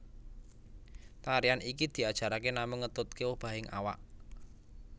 Tarian iki diajarake namung ngetutke obahing awak